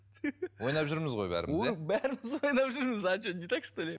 ойнап жүрміз ғой бәріміз иә бәріміз ойнап жүрміз а что не так что ли